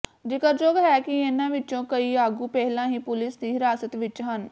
ਜਿਕਰਯੋਗ ਹੈ ਕਿ ਇਨ੍ਹਾਂ ਵਿੱਚੋਂ ਕਈ ਆਗੂ ਪਹਿਲਾਂ ਹੀ ਪੁਲਿਸ ਦੀ ਹਿਰਾਸਤ ਵਿੱਚ ਹਨ